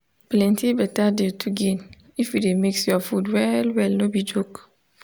plenty betta dey to gain if you dey mix your food well well no be joke